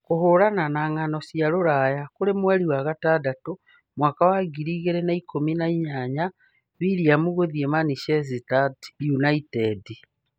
Kũhũũrana na Ng'ano cia Rũraya kũrĩ mweri wa gatandatũ, mwaka wa ngiri igĩrĩ na ikũmi na inyanya:Willian gũthiĩ Manchester United?